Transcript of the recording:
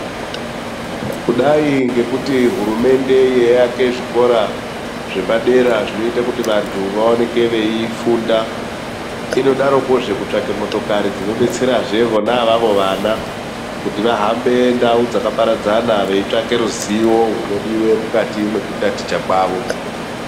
Kudai ngekuti hurumende yeiyake zvikora zvepadera zvinoita kuti vandu vaoneke veifunda inodarokozve kutsvake motokari dzinobetsera ivavo vana kuti vahambe ndau dzakaparadzana veitsvake ruzivo rwunodiwa mukati mekutaticha kwavo.